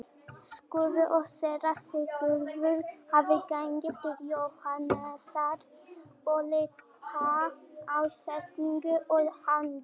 Skúli og Séra Sigurður hafa gengið til Jóhannesar og líta á setningu og handrit.